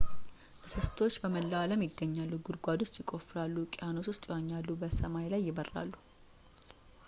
እንስሳቶች በመላው አለም ይገኛሉ ጉድጓድ ውስጥ ይቆፍራሉ ውቅያኖስ ውስጥ ይዋኛሉ በሰማይ ላይ ይበራሉ